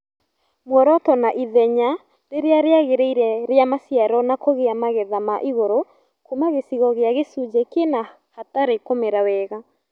Muoroto na ithenya rĩrĩa rĩagĩrĩire rĩa maciaro na kũgĩa magetha maigũrũ Kuma gĩcigo gĩa gĩcunjĩ kĩna hatarĩ kũmera wega